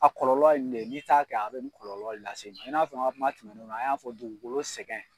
A kɔlɔlɔ ye nin ne ye n'i ta kɛ a bɛ nin kɔlɔlɔ lase i ma n'a fɔ n ka kuma tɛmɛnenw na an y'a fɔ dugukolo sɛgɛn